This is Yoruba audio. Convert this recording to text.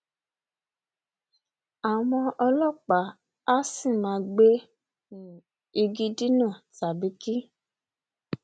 àwọn ọlọpàá a sì máa gbe um igi dínà tàbí kí